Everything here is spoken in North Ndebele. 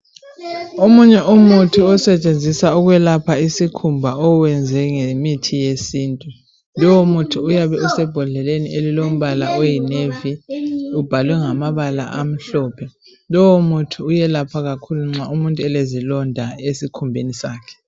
omunye umuthi osetshenziswa ukwelapha isikhumba owenzwe ngemithi wesintu lowo muthi uyabe usembondleleni elilo mbala oyi navy ubhalwe ngamabala amhlophe lowo muthi uyelapha kakhulu nxa umuntu elezilonda esikhumbeni sakhe